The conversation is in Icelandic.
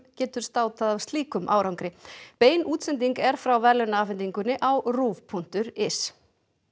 getur státað af slíkum árangri bein útsending er frá verðlaunaafhendingunni á punktur is